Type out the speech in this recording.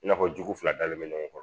I n'a fɔ jugu fila dalen bɛ ɲɔgɔn kɔrɔ